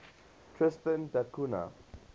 tristan da cunha